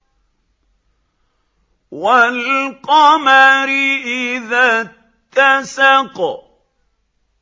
وَالْقَمَرِ إِذَا اتَّسَقَ